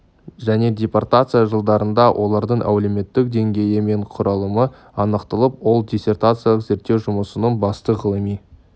және депортация жылдарында олардың әлеуметтік деңгейі мен құрылымы анықталып ол диссертациялық зерттеу жұмысының басты ғылыми